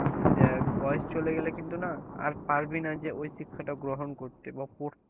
দেখ বয়স চলে গেলে কিন্তু না আর পারবি না যে ওই শিক্ষাটা গ্রহণ করতে বা পড়তে।